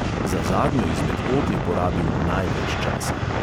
Za zadnjo izmed od je porabil največ časa.